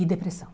E depressão.